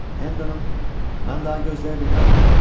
Mən daha gözləyə bilmərəm.